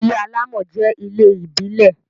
ilé alamò jẹ ilé ìbílè